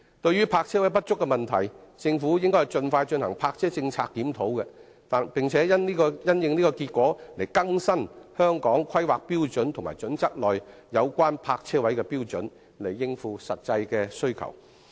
對於泊車位不足的問題，政府應盡快進行泊車政策檢討，並因應結果更新《規劃標準》內有關泊車位的標準，以應付實際的需求。